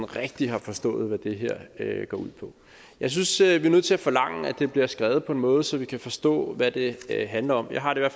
rigtigt har forstået hvad det her går ud på jeg synes at vi er nødt til at forlange at det bliver skrevet på en måde så vi kan forstå hvad det handler om jeg har det